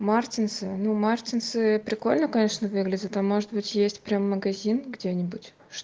мартинсы ну мартинсы прикольно конечно выглядят а может быть есть прямо магазин где-нибудь